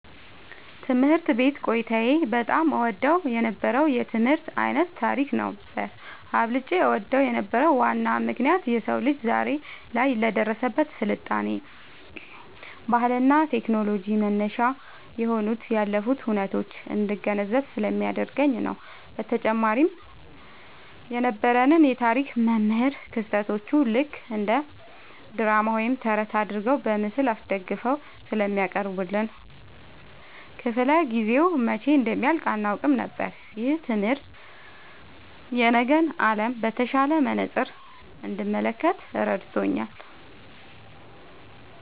ትምህርት ቤት ቆይታዬ በጣም እወደው የነበረው የትምህርት ዓይነት ታሪክ ነበር። አብልጬ እወደው የነበረበት ዋናው ምክንያት የሰው ልጅ ዛሬ ላይ ለደረሰበት ስልጣኔ፣ ባህልና ቴክኖሎጂ መነሻ የሆኑትን ያለፉ ሁነቶች እንድገነዘብ ስለሚያደርገኝ ነው። በተጨማሪም የነበረን የታሪክ መምህር ክስተቶቹን ልክ እንደ ድራማ ወይም ተረት አድርገው በምስል አስደግፈው ስለሚያቀርቡልን፣ ክፍለ-ጊዜው መቼ እንደሚያልቅ አናውቅም ነበር። ይህ ትምህርት የነገን ዓለም በተሻለ መነጽር እንድመለከት ረድቶኛል።"